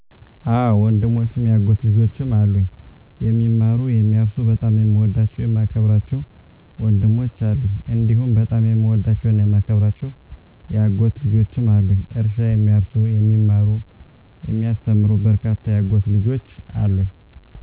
አወ ወንድሞችም የአጎት ልጆችም አሉኝ፦ የሚማሩ፣ የሚያርሱ በጣም የምወዳቸው የማከብራቸው ወንድሞች አሉኝ፤ *እንዲሁም በጣም የምወዳቸውና የማከብራቸው የአጎት ልጆችም አሉኝ፤ *እርሻ የሚያርሱ *የሚማሩ *የሚያስተምሩ በርካታ የአጎት ልጆች አሉኝ።